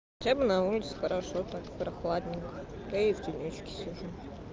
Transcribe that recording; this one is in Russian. хотя бы на улице хорошо так прохладненько а я и в тенёчке сижу